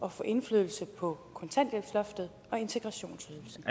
at få indflydelse på kontanthjælpsloftet og integrationsydelsen